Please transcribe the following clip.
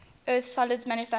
earth's solid surface